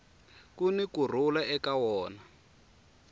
kuni ku rhula eka wona